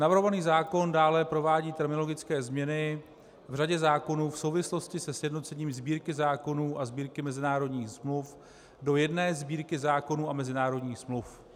Navrhovaný zákon dále provádí terminologické změny v řadě zákonů v souvislosti se sjednocením Sbírky zákonů a Sbírky mezinárodních smluv do jedné Sbírky zákonů a mezinárodních smluv.